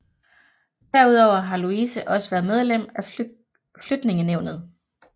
Derudover har Louise også været medlem af Flytningenævnet